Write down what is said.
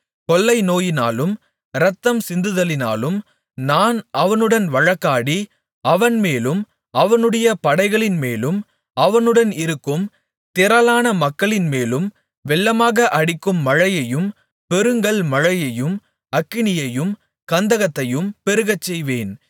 கொள்ளைநோயினாலும் இரத்தம் சிந்துதலினாலும் நான் அவனுடன் வழக்காடி அவன்மேலும் அவனுடைய படைகளின்மேலும் அவனுடன் இருக்கும் திரளான மக்களின்மேலும் வெள்ளமாக அடிக்கும் மழையையும் பெருங்கல்மழையையும் அக்கினியையும் கந்தகத்தையும் பெருகச்செய்வேன்